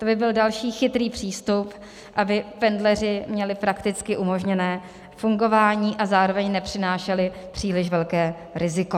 To by byl další chytrý přístup, aby pendleři měli prakticky umožněno fungování a zároveň nepřinášeli příliš velké riziko.